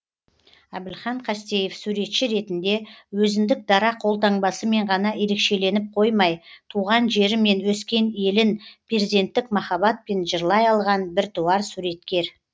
әбілхан қастеев суретші ретінде өзіндік дара қолтаңбасымен ғана ерекшеленіп қоймай туған жері мен өскен елін перзенттік махаббатпен жырлай алған біртуар суреткер